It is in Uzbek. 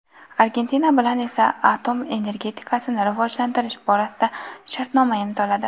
Argentina bilan esa atom energetikasini rivojlantirish borasida shartnoma imzoladi.